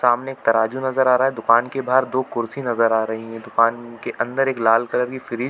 सामने एक तराज़ू नज़र आ रहा है दुकान के बाहर दो कुर्सी नज़र आ रही है दुकान के अंदर एक लाल कलर की फ्रीज़ --